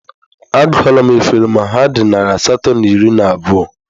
Agụọla m efere ma ha dị narị asatọ na iri na abụọ